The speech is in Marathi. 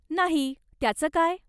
नाही, त्याचं काय?